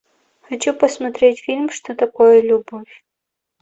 хочу посмотреть фильм что такое любовь